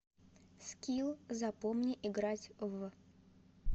скилл запомни играть в